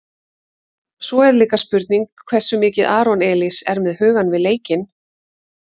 Svo er líka spurning hversu mikið Aron Elís er með hugann við leikinn?